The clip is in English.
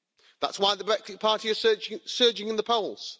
That's why the Brexit party is surging in the polls.